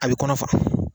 A bɛ kɔnɔ fa